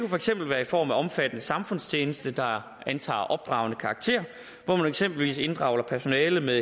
for eksempel være i form af omfattende samfundstjeneste der antager opdragende karakter hvor man eksempelvis inddrager personale med